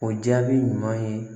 O jaabi ɲuman ye